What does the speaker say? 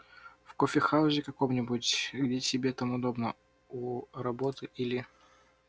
в кофехаузе каком-нибудь где тебе там удобно у работы или